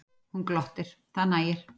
Hún glottir, það nægir.